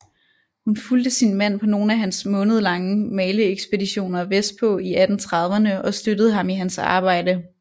Hun fulgte sin mand på nogle af hans månedlange maleekspeditioner vestpå i 1830erne og støttede ham i hans arbejde